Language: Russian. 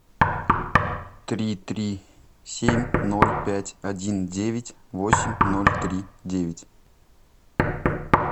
три три семь ноль пять один девять восемь ноль три девять